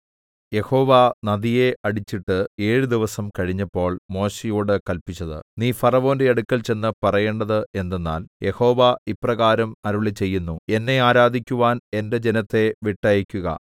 യഹോവ നദിയെ അടിച്ചിട്ട് ഏഴ് ദിവസം കഴിഞ്ഞപ്പോൾ മോശെയോട് കല്പിച്ചത് നീ ഫറവോന്റെ അടുക്കൽ ചെന്ന് പറയേണ്ടത് എന്തെന്നാൽ യഹോവ ഇപ്രകാരം അരുളിച്ചെയ്യുന്നു എന്നെ ആരാധിക്കുവാൻ എന്റെ ജനത്തെ വിട്ടയയ്ക്കുക